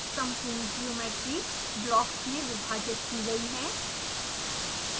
सम्पूर्ण geometry blocks में विभाजित की गयी है